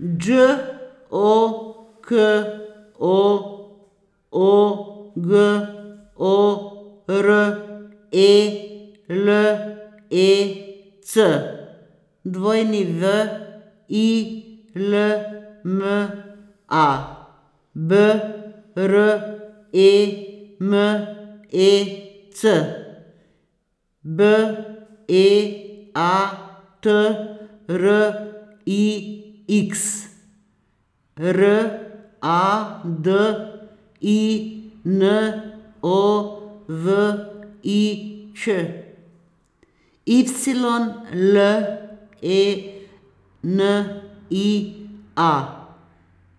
Đ O K O, O G O R E L E C; W I L M A, B R E M E C; B E A T R I X, R A D I N O V I Ć; Y L E N I A,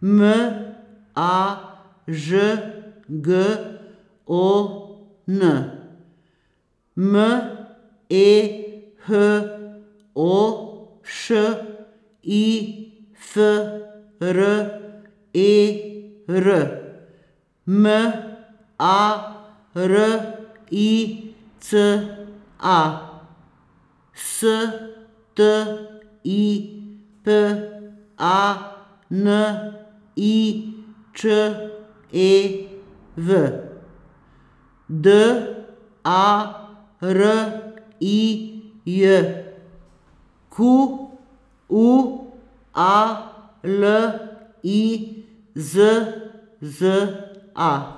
M A Ž G O N; M E H O, Š I F R E R; M A R I C A, S T I P A N I Č E V; D A R I J, Q U A L I Z Z A.